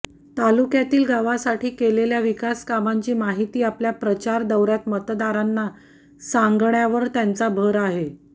तालुक्यातील गावासाठी केलेल्या विकासकामांची माहिती आपल्या प्रचार दौऱ्यात मतदारांना सांगण्यावर त्यांचा भर आहे